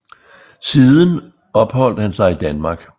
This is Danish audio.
Siden opholdte han sig i Danmark